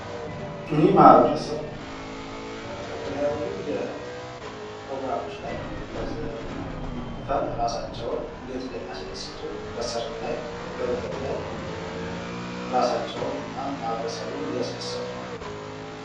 እኒህ ማህበረሰብ በተለያዩ ፕሮግራሞች ላይ በዘፈን እራሳቸውን እንደት እንደሚያስደስቱ በሰርግ ላይ በልደት ላይ እራሳቸውን እና ማህበረሰቡን እያስደሰቱ ነው።